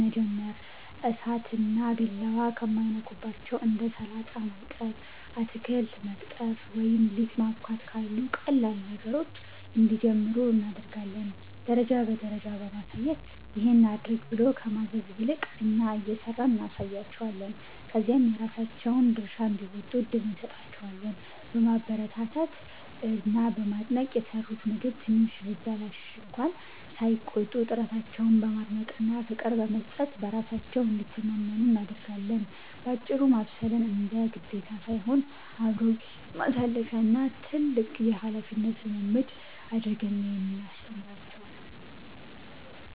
መጀመር፦ እሳትና ቢላዋ ከማይነኩባቸው እንደ ሰላጣ ማጠብ፣ አትክልት መቅጠፍ ወይም ሊጥ ማቦካት ካሉ ቀላል ነገሮች እንዲጀምሩ እናደርጋለን። ደረጃ በደረጃ ማሳየት፦ "ይሄን አድርግ" ብሎ ከማዘዝ ይልቅ፣ እኛ እየሰራን እናሳያቸዋለን፤ ከዚያም የራሳቸውን ድርሻ እንዲወጡ እድል እንሰጣቸዋለን። በማበረታታት እና በማድነቅ፦ የሰሩት ምግብ ትንሽ ቢበላሽ እንኳ ሳይቆጡ፣ ጥረታቸውን በማድነቅና ፍቅር በመስጠት በራሳቸው እንዲተማመኑ እናደርጋለን። ባጭሩ፤ ማብሰልን እንደ ግዴታ ሳይሆን፣ አብሮ ጊዜ ማሳለፊያ እና ትልቅ የኃላፊነት ልምምድ አድርገን ነው የምናስተምራቸው።